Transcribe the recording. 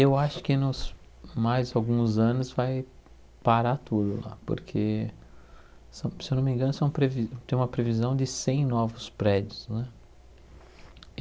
Eu acho que nos mais alguns anos vai parar tudo lá, porque, se eu se eu não me engano, são previ tem uma previsão de cem novos prédios não é.